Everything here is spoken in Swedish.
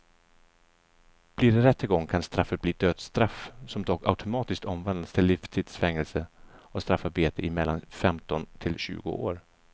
Blir det rättegång kan straffet bli dödsstraff som dock automatiskt omvandlas till livstids fängelse och straffarbete i mellan femton till tjugo år.